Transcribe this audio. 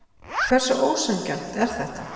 Hversu ósanngjarnt er þetta?